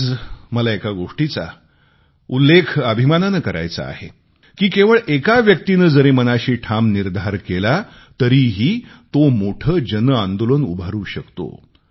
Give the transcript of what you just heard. आज मला एका गोष्टीचा उल्लेख गर्वाने करायचा आहे की केवळ एका व्यक्तीने जरी मनाशी ठाम निर्धार केला तरीही तो मोठे जनआंदोलन उभारू शकतो